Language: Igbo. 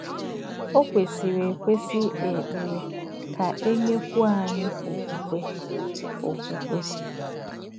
Ọ̀ kwèsìrì èkwèsì ìkpè ékperè kà è nyèkwúò ányị̀ òkwùkwè. òkwùkwè.